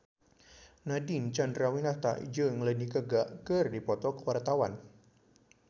Nadine Chandrawinata jeung Lady Gaga keur dipoto ku wartawan